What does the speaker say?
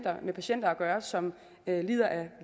har med patienter at gøre som lider af